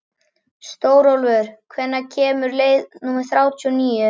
Stórólfur, hvenær kemur leið númer þrjátíu og níu?